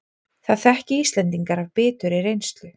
Það þekki Íslendingar af biturri reynslu